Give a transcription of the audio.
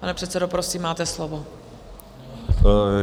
Pane předsedo, prosím, máte slovo.